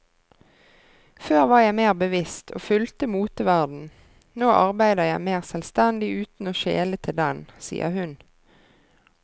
Før var jeg mer bevisst og fulgte moteverdenen, nå arbeider jeg mer selvstendig uten å skjele til den, sier hun.